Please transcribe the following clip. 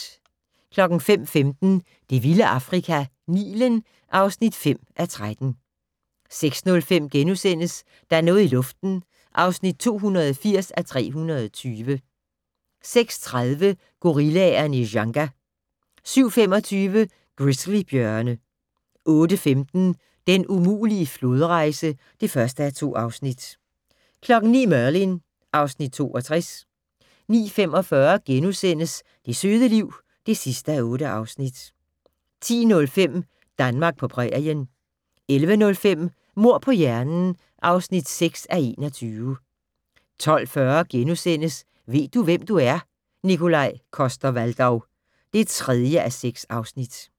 05:15: Det vilde Afrika - Nilen (5:13) 06:05: Der er noget i luften (280:320)* 06:30: Gorillaerne i Dzanga 07:25: Grizzly-bjørne 08:15: Den umulige flodrejse (1:2) 09:00: Merlin (Afs. 62) 09:45: Det søde liv (8:8)* 10:05: Danmark på prærien 11:05: Mord på hjernen (6:21) 12:40: Ved du, hvem du er? - Nikolaj Coster-Waldau (3:6)*